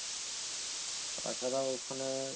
তাছাড়া ওখানে